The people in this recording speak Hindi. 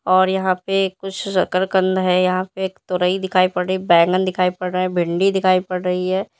और यहां पे कुछ शकरकंद है यहां पे एक तोरइ दिखाई पड़ रही है बैंगन दिखाई पड़ रहा है भिंडी दिखाई पड़ रही है।